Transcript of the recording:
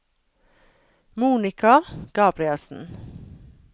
Monica Gabrielsen